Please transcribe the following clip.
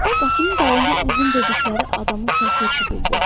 Qapının dalından uzun dedikləri adamın səsi eşidildi.